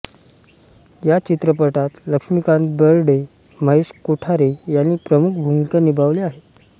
या चित्रपटात लक्ष्मीकांत बेर्डे महेश कोठारे यांनी प्रमुख भूमिका निभावल्या आहेत